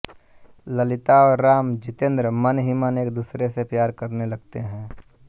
ललिता और राम जितेन्द्र मन ही मन एक दूसरे से प्यार करने लगते हैं